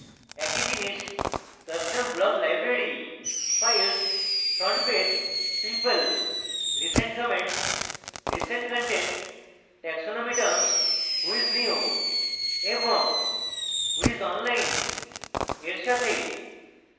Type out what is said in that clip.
একই জিনিস custom block library files frontpage people recent comments recent content taxonomy terms whos new এবং whos online এর সাথে